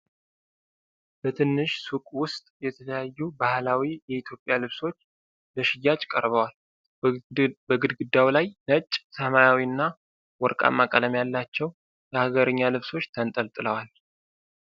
በትንሽ ሱቅ ውስጥ የተለያዩ ባህላዊ የኢትዮጵያ ልብሶች ለሽያጭ ቀርበዋል። በግድግዳው ላይ ነጭ፣ ሰማያዊና ወርቃማ ቀለም ያላቸው የሀገርኛ ልብሶች ተንጠልጥለዋል። አ